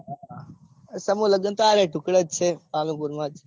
સમું લગન તો આ રહ્યા ધુક્કડે જ છે પાલનપુર માં જ